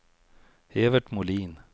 Evert Molin